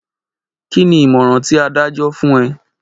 Kí ni ìmọ̀ràn ti adájọ́ fún ẹ?